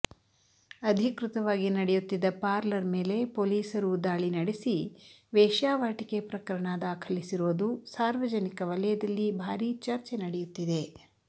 ಅಧಿಕೃತವಾಗಿ ನಡೆಯುತ್ತಿದ್ದ ಪಾರ್ಲರ್ ಮೇಲೆ ಪೊಲೀಸರು ದಾಳಿ ನಡೆಸಿ ವೇಶ್ಯಾವಾಟಿಕೆ ಪ್ರಕರಣ ದಾಖಲಿಸಿರೋದು ಸಾರ್ವಜನಿಕ ವಲಯದಲ್ಲಿ ಬಾರೀ ಚರ್ಚೆ ನಡೆಯುತ್ತಿದೆ